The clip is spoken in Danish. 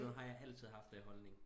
Og sådan har jeg altid haft den holdning